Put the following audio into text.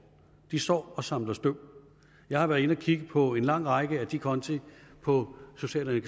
de står og samler støv jeg har været inde at kigge på en lang række af de konti på social